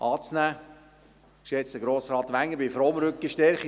Geschätzter Grossrat Wenger, ich bin froh um Rückenstärkung.